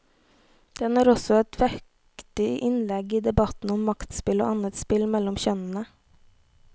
Den er også et vektig innlegg i debatten om maktspill og annet spill mellom kjønnene.